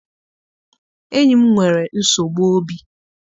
Enyi m nwere nsogbu obi.